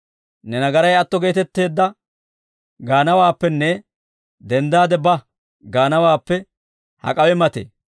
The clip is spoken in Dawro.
‹Ne nagaray atto geetetteedda› gaanawaappenne ‹Denddaade ba› gaanawaappe hak'awe matee?